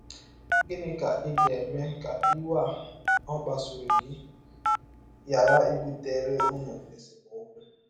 Gịnị ka ị ga - eme ka iwe a kpasụrụ gị ghara ibụtere ụnụ esemọkwụ?